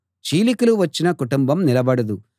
చీలికలు వచ్చిన కుటుంబం నిలబడదు